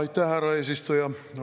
Aitäh, härra eesistuja!